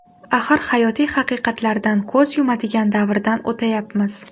Axir hayotiy haqiqatlardan ko‘z yumadigan davrdan o‘tayapmiz.